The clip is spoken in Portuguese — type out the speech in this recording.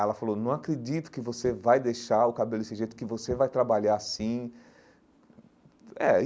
Ela falou, não acredito que você vai deixar o cabelo desse jeito, que você vai trabalhar assim eh aí.